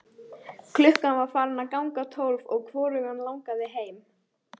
Klukkan var farin að ganga tólf og hvorugan langaði heim.